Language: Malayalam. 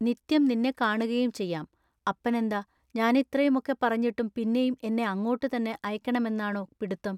നിത്യം നിന്നെ കാണുകയും ചെയ്യാം. അപ്പനെന്താ ഞാനിത്രയുമൊക്കെ പറഞ്ഞിട്ടും പിന്നെയും എന്നെ അങ്ങോട്ടു തന്നെ അയക്കെണമെന്നാണൊ പിടുത്തം.